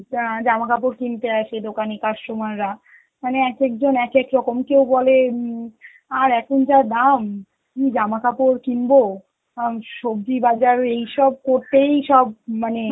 জা~ জামা কাপড় কিনতে আসে দোকানে customer রা, মানে এক এক জন এক এক রকম, কেউ বলে উম আর এখন যা দাম, কি জামা কাপড় কিনবো, আঁ সবজি বাজার এইসব করতেই সব মানে